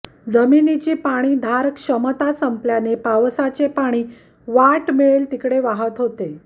जमिनीची पाणी धार क्षमता संपल्याने पावसाचे पाणी वाट मिळेल तिकडे वाहत होते